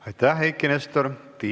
Aitäh, Eiki Nestor!